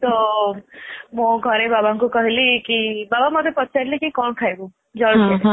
ତ ମୁଁ ଘରେ ବାବାଙ୍କୁ କହିଲି କି.ବାବା ମୋତେ ପଚାରିଲେ କି କଣ ଖାଇବୁ ଜଳଖିଆ ?